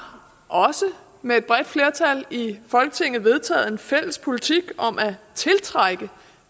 også med et bredt flertal i folketinget vedtaget en fælles politik om at tiltrække